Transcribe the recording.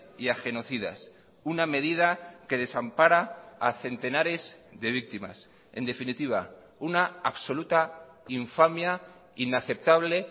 y a genocidas una medida que desampara a centenares de víctimas en definitiva una absoluta infamia inaceptable